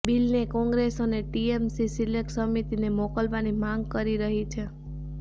બિલને કોંગ્રસ અને TMC select સમિતિને મોકવવાની માગ કરી રહી છે